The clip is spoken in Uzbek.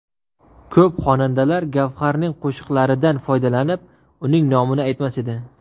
Ko‘p xonandalar Gavharning qo‘shiqlaridan foydalanib, uni nomini aytmas edi.